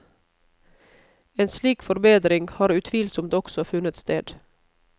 En slik forbedring har utvilsomt også funnet sted.